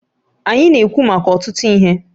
Anyị na-ekwu maka ọtụtụ ihe